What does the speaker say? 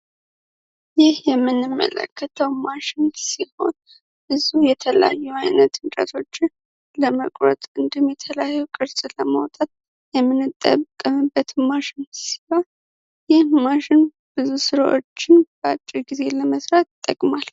ይህ የምንመለከተው ማሽን ሲሆን ብዙ የተለያዩ የተለያዩ ቅርሶችን ለማውጣት የምንጠቀምበት ማሽን ሲሆን ይህ ማሽን ስራዎችን በአጭር ጊዜ ለመስራት ይጠቅማል።